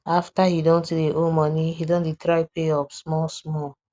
after he don too dey owe money he don dey try pay up small small